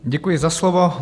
Děkuji za slovo.